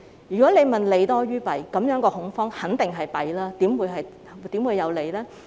如果你問這是否利多於弊，這種恐慌肯定只有弊，怎會有利呢？